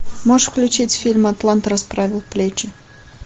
можешь включить фильм атлант расправил плечи